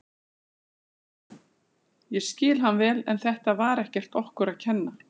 Ég skil hann vel en þetta var ekkert okkur að kenna.